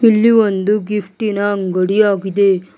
ಇಲ್ಲಿ ಒಂದು ಗಿಫ್ಟಿ ನ ಅಂಗಡಿ ಆಗಿದೆ.